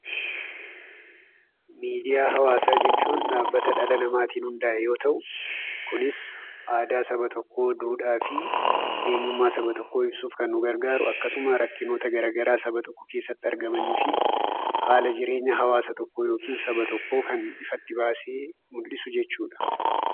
Miidiyaa hawaasaa jechuun dhaabbata dhala namaatin hundaa'e yemmuu ta'u, kunis aadaa saba tokkoo, duudhaafi eenyummaa saba tokkoo ibsuudhaaf kan nu gargaaru. akkasuma rakkinoota gara garaa saba tokko keessatti argamaniifi haala jireenya hawaasa tokkoo yookaan saba tokkoo kan ifatti baasee mul'isu jechuudha.